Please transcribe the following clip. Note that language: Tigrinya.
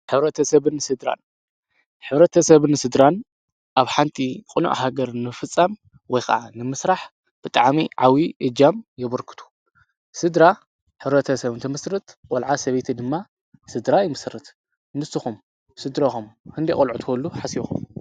ሕ/ሰብን ስድራን ሕ/ሰብን ስድራን ኣብ ሓንቲ ቅኑዕ ሃገር ንምፍፃም ወይከዓ ንምስራሕ ብጣዕሚ ዓብይ እጃም የበርክቱ፡፡ ስድራ ሕ/ሰብ እንትምስርት ቆልዓ ሰበይቲ ድማ ስድራ ይምስርት፡፡ ንስኹም ስድራኹም ክንደይ ቆልዑ ክትወልዱ ሓሲብኩም?